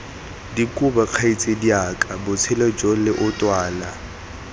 dikobe kgaitsadiaka botshelo jo leotwana